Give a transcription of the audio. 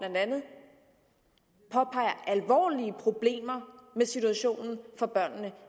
påpeger alvorlige problemer i situationen for børnene